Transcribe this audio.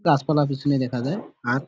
গাছপালা পেছনে দেখা যায় আর--